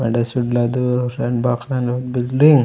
वेंडे चुड़लादु रेंडू बाक खाने बिल्डिंग |--